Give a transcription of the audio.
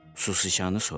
Susiçanı soruşdu.